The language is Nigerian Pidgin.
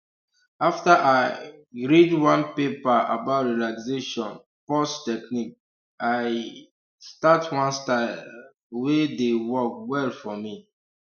after i um read one paper about relaxation pause technique i um start one style um wey dey work well for me